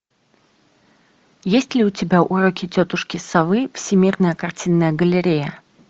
есть ли у тебя уроки тетушки совы всемирная картинная галерея